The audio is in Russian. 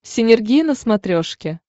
синергия на смотрешке